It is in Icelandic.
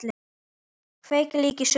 Kveikir líka í sumum.